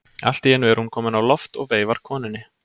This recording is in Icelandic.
Allt í einu er hún komin á loft og veifar konunni.